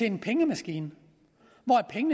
en pengemaskine